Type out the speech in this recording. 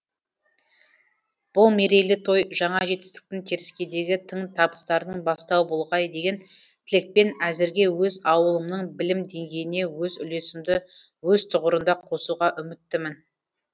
бұл мерейлі той жаңа жетісіктің теріскейдегі тың табыстардың бастауы болғай деген тілекпен әзірге өз ауылымның білім деңгейіне өз үлесімді өз тұғырында қосуға үміттімін